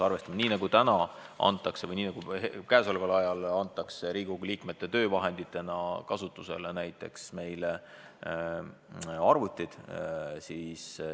Praegu antakse Riigikogu liikmetele töövahenditena kasutusele näiteks arvutid.